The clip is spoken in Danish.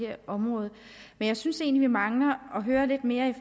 her område men jeg synes egentlig vi mangler at høre lidt mere